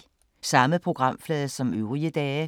Samme programflade som øvrige dage